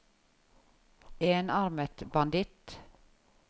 enarmet banditt